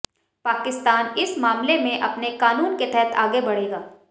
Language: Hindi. पाकिस्तान इस मामले में अपने कानून के तहत आगे बढ़ेगा